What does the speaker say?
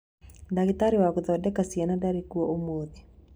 Ndagĩtarĩ wa gũthondeka ciana ndarĩ kuo ũmuthĩ